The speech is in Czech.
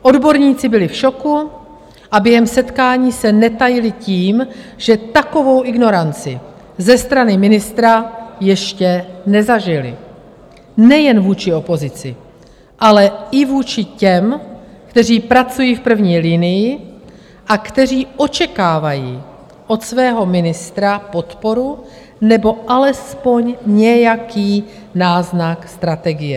Odborníci byli v šoku a během setkání se netajili tím, že takovou ignoranci ze strany ministra ještě nezažili - nejen vůči opozici, ale i vůči těm, kteří pracují v první linii a kteří očekávají od svého ministra podporu nebo alespoň nějaký náznak strategie.